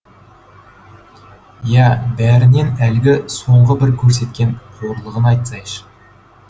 ия бәрінен әлгі соңғы бір көрсеткен қорлығын айтсайшы